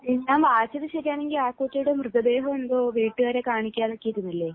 പിന്നെ വായിച്ചത് ശരിയാണെങ്കിൽ ആ കുട്ടിയുടെ മൃതദേഹം എന്തോ വീട്ടുകാരെ കാണിക്കാതെയൊക്കെ ഇരുന്നില്ലേ